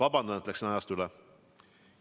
Vabandust, et läksin ajast üle!